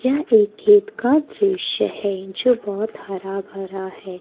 यह एक खेत का दृश्य है जो बहोत हरा-भरा है।